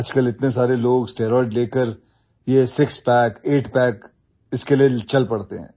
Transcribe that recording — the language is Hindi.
आजकल इतने सारे लोग स्टेरॉइड लेकर यह सिक्स पैक आइट पैक इसके लिए चल पड़ते हैं